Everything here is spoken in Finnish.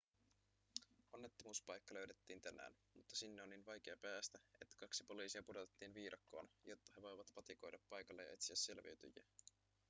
onnettomuuspaikka löydettiin tänään mutta sinne on niin vaikea päästä että kaksi poliisia pudotettiin viidakkoon jotta he voivat patikoida paikalle ja etsiä selviytyjiä